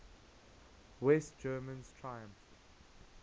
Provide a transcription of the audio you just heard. west germans triumphed